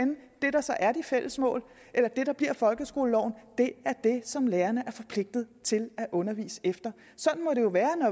det der så er de fælles mål eller det der bliver folkeskoleloven det som lærerne er forpligtet til at undervise efter sådan må det jo være